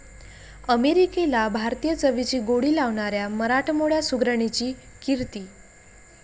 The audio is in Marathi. अमेरिकेला भारतीय चवीची गोडी लावणाऱ्या मराठमोळ्या सुगरणीची 'कीर्ती'